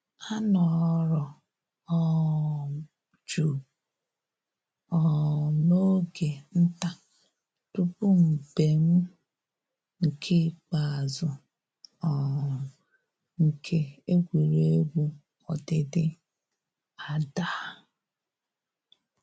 A nọrọ um jụụ um n'oge nta tupu mbem nke ikpeazụ um nke egwuregwu ọdịdị adaa